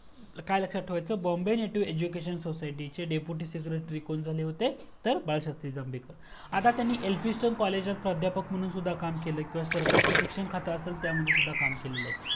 काय लक्षात ठेवायच Bombay Native Education Society चे डेप्युटी secretory कोण झाले होते तर बाळशास्त्री जांभेकर